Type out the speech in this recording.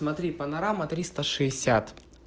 смотри панорама триста шестьдесят